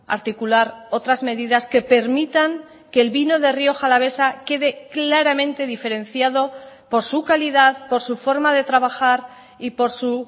pueda articular otras medidas que permitan que el vino de rioja alavesa quede claramente diferenciado por su calidad por su forma de trabajar y por